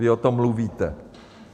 Vy o tom mluvíte.